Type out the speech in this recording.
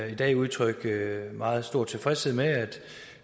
i dag udtrykke meget stor tilfredshed med at